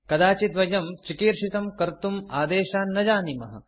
कदाचित् वयं चिकीर्षितं कर्तुम् आदेशान् न जानीमः